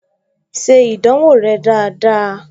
Ṣe ìdánwò rẹ dáadáa!